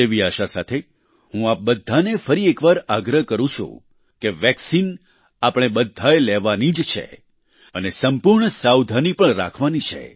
તેવી આશા સાથે હું આપ બધાને ફરી એકવાર આગ્રહ કરું છું કે વેક્સિન આપણે બધાએ લેવાની જ છે અને સંપૂર્ણ સાવધાની પણ રાખવાની છે